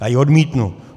Já ji odmítnu.